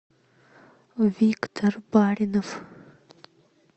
виктор баринов